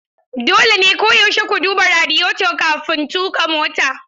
Dole ne koyaushe ku duba radiyeto kafin tuƙa mota.